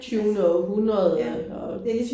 Tyvende århundrede og